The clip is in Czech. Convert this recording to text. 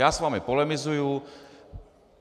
Já s vámi polemizuji.